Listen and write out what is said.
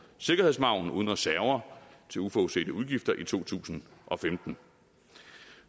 sikkerhedsmargen uden reserver til uforudsete udgifter i to tusind og femten